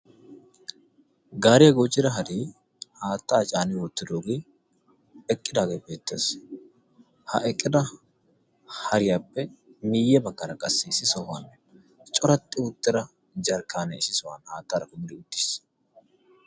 Gaariya goochida haree haatta caani uttidaagee eqidaagee beettees. ha eqqida hariyappe miyye baggan qassi issi sohuwan corattida jarkaane issi sohuwan beettees.